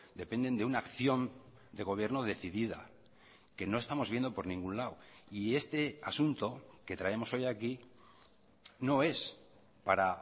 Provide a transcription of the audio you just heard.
dependen de una acción de gobierno decidida que no estamos viendo por ningún lado y este asunto que traemos hoy aquí no es para